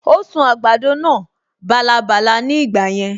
Ó sun àgbàdo náà bálabàla ní ìgbà yẹn